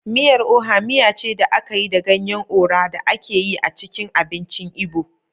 Miyar Oha miya ce da aka yi da ganyen Ora da ake yi a cikin abincin Igbo.